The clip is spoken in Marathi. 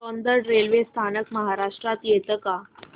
सौंदड रेल्वे स्थानक महाराष्ट्रात येतं का